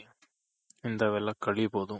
ಇಂತವೆಲ್ಲ ಕಲಿಬೋದು.